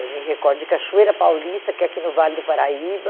Eu me recordo de Cachoeira Paulista, que é aqui no Vale do Paraíba,